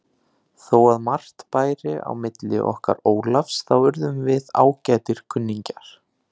Þó að margt bæri á milli okkar Ólafs þá urðum við ágætir kunningjar.